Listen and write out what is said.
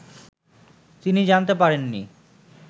তিনি জানতে পারেননি